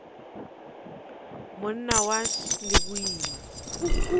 monna wa š le boima